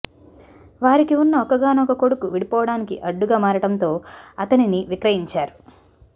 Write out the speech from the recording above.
వారికి ఉన్న ఒక్కగానొక్క కొడుకు విడిపోవడానికి అడ్డుగా మారడంతో అతనిని విక్రయించారు